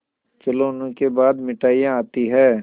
खिलौनों के बाद मिठाइयाँ आती हैं